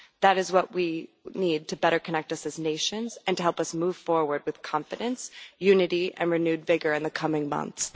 That is what we need to better connect us as nations and to help us move forward with confidence, unity and renewed vigour in the coming months.